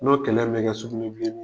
N'o kɛlɛ bɛ kɛ sugunɛ bilenin